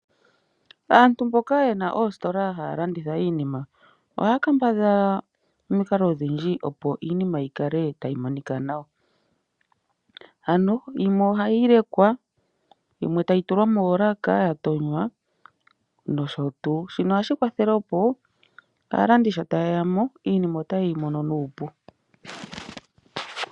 Aantu mboka yena oositola haa landitha iinima ohaya kambadhala omikalo odhindji opo iinima yi kale tayi monika nawa. Ano yimwe ohayi lekwa, timwe tayi tulwa moolaka ya tonya no sho tuu. Shino ohashi kwathele opo aalandi shi tayeyamo iinima ota ye yi mono nuupu.